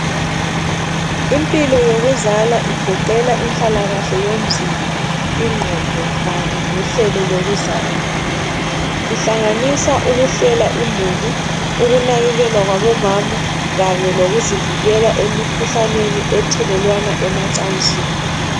Impilo yokuzala igoqela inhlalakahle yomzimba , ingqondo Kanye lohlelo lokuzala ihlanganisa ukuhlela imuli, ukunakekelwa kwabomama Kanye lokuzivikela emikhuhlaneni ethelelwana emacansini.